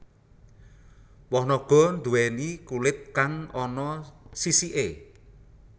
Woh naga nduwèni kulit kang ana sisiké